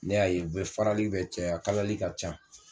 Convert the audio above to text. Ne y'a ye u be farali bɛ cɛ a kalali ka can.